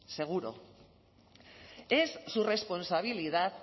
seguro es su responsabilidad